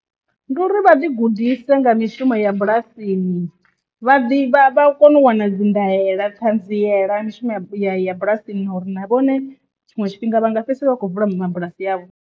Ndi uri vha ḓi gudise nga mishumo ya bulasini, vha ḓi vha kone u wana dzi ndaela ṱhanziela ya mishumo ya ya bulasini uri na vhone tshiṅwe tshifhinga vha nga fhedzisela vha tshi khou vula mabulasi avho.